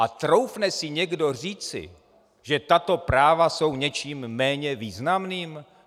A troufne si někdo říci, že tato práva jsou něčím méně významným?